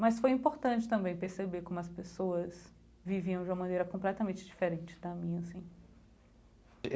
Mas foi importante também perceber como as pessoas viviam de uma maneira completamente diferente da minha assim.